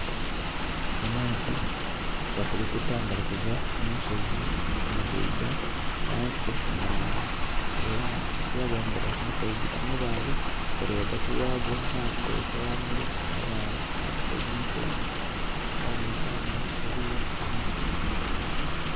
Amaadhi gakulukuta nga gali kuva mu nsozi ngagaidha ghansi mu mwala, era ekiraga nga gava mu nsozi amabaale gali ghagati ghaago. Amaadhi gabitira ghangulu mu mabaale ate saidi ni saidi ghaboneka nga eliyo emiti.